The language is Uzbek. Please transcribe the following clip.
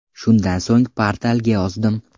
Shundan so‘ng portalga yozdim.